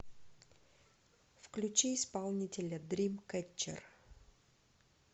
включи исполнителя дримкэтчер